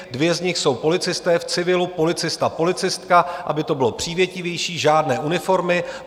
Dvě z nich jsou policisté v civilu, policista, policistka, aby to bylo přívětivější, žádné uniformy.